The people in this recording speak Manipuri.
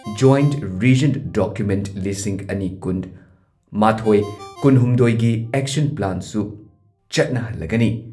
ꯖꯣꯢꯟꯠ ꯔꯤꯖꯟ ꯗꯣꯀ꯭ꯌꯨꯃꯦꯟꯠ ꯂꯤꯁꯤꯡ ꯑꯅꯤ ꯀꯨꯟꯃꯥꯊꯣꯏ ꯀꯨꯟꯍꯨꯝꯗꯣꯏꯒꯤ ꯑꯦꯛꯁꯟ ꯄ꯭ꯂꯥꯟꯁꯨ ꯆꯠꯅꯍꯜꯂꯒꯅꯤ꯫